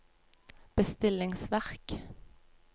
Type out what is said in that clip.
bestillingsverk